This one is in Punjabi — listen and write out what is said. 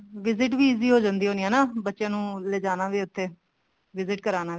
visit ਵੀ easy ਹੋ ਜਾਂਦੀ ਆ ਹਨਾ ਬੱਚਿਆਂ ਨੂੰ ਲੇਜਾਣਾ ਉੱਥੇ visit ਕਰਵਾਉਣਾ